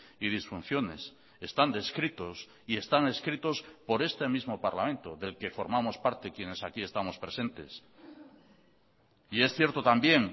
y disfunciones están descritos y están escritos por este mismo parlamento del que formamos parte quienes aquí estamos presentes y es cierto también